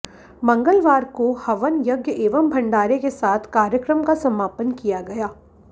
मंगलवार को हवन यज्ञ एवं भंडारे के साथ कार्यक्रम का समापन किया गया